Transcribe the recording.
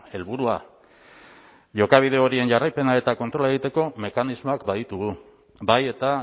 helburua jokabide horien jarraipena eta kontrola egiteko mekanismoak baditugu bai eta